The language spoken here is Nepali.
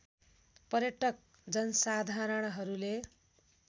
पर्यटक जनसाधारणहरूले